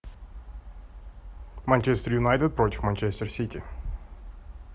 манчестер юнайтед против манчестер сити